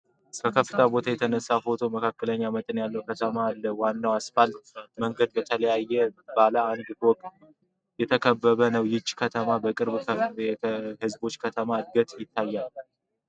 ከከፍታ ቦታ የተነሳው ፎቶ በመካከለኛ መጠን ያለች ከተማን አሉ። ዋናው አስፋልት መንገድ በተለያዩ ባለ አንድ እና ሁለት ፎቅ ህንፃዎች የተከበበ ነው። ይህች ከተማ በቅርቡ ከፍተኛ የህዝብ ዕድገት ታያለች?